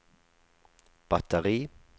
batteri